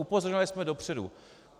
Upozorňovali jsme dopředu.